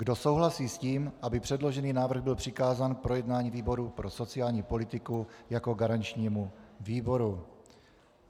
Kdo souhlasí s tím, aby předložený návrh byl přikázán k projednání výboru pro sociální politiku jako garančnímu výboru?